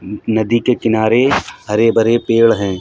न नदी के किनारे हरे-भरे पेड़ है।